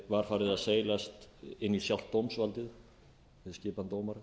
var farið að seilast inn í sjálft dómsvaldið með skipan dómara